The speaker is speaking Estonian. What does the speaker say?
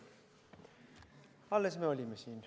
Nojah, alles me olime siin.